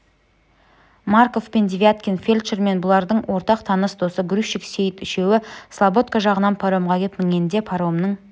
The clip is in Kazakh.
марков пен девяткин фельдшер және бұлардың ортақ таныс досы грузчик сейіт үшеуі слободка жағынан паромға кеп мінгенде паромның